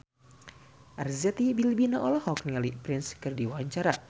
Arzetti Bilbina olohok ningali Prince keur diwawancara